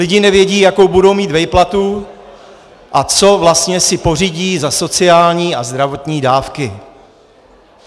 Lidi nevědí, jakou budou mít výplatu a co vlastně si pořídí za sociální a zdravotní dávky.